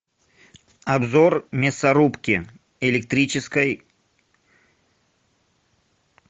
обзор мясорубки электрической